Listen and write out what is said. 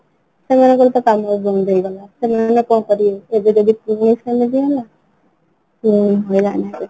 ସେମାନଙ୍କର ତ କାମ ବନ୍ଦ ହେଇଗଲା ସେମାନେ କଣ କରିବେ ଏବେ ଯଦି ପୁଣି ସେମିତି ହେଲା ପୁଣି ହଇରାଣ ହେବେ